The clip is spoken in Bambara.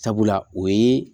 Sabula o ye